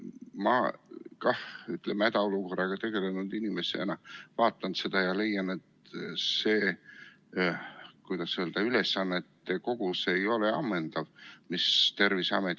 Mina hädaolukorraga tegelenud inimesena vaatan seda ja leian, et see, kuidas öelda, ülesannete kogum ei ole ammendav.